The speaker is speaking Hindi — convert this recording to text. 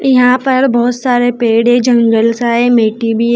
यहां पर बहोत सारे पेड़ है जंगल सा है मिट्टी भी है।